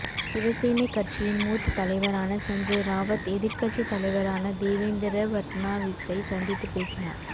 சிவசேனை கட்சியின் மூத்த தலைவரான சஞ்சய் ராவத் எதிர்க்கட்சி தலைவரான தேவேந்திர பட்னாவிஸை சந்தித்து பேசினார்